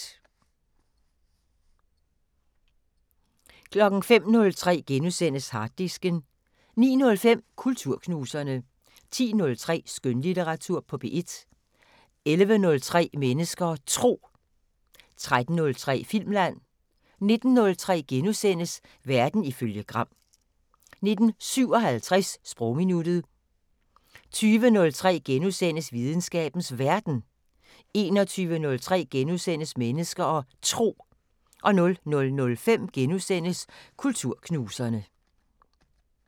05:03: Harddisken * 09:05: Kulturknuserne 10:03: Skønlitteratur på P1 11:03: Mennesker og Tro 13:03: Filmland 19:03: Verden ifølge Gram * 19:57: Sprogminuttet 20:03: Videnskabens Verden * 21:03: Mennesker og Tro * 00:05: Kulturknuserne *